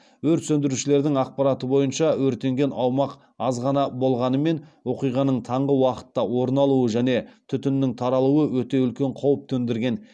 өрт сөндірушілердің ақпараты бойынша өртенген аумақ аз ғана болғанымен оқиғаның таңғы уақытта орын алуы және түтіннің таралуы өте үлкен қауіп төндірген